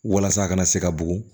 Walasa a kana se ka bugun